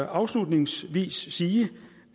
afslutningsvis sige